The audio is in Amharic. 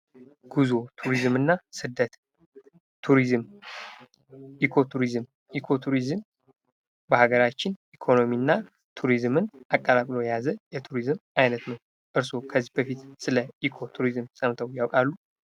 ጉዞ ቱሪዝምና ስደት ኢኮቱሪዝም በሀገራችን ኢኮኖሚና ቱሪዝምን አቀላቅሎ የያዘ የቱሪዝም ዓይነት ነው ከዚህ በፊት ስለ ኢኮኖሚ ቱሪዝም ሰምተው ያውቃሉ?